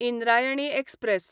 Indrayani express